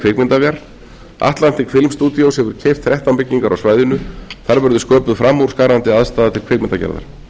kvikmyndaver atlantic bil studios hefur keypt þrettán byggingar á svæðinu þar verður sköpuð framúrskarandi aðstaða til kvikmyndagerðar þá hefur